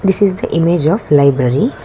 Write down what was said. this is the image of library.